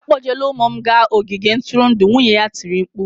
"Akpọjela ụmụ m gaa n'ogige ntụrụndụ!" Nwunye ya tiri mkpu